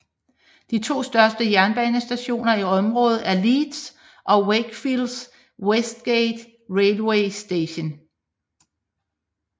De to største jernbanestationer i området er Leeds og Wakefield Westgate Railway Station